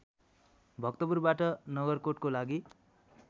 भक्तपुरबाट नगरकोटको लागि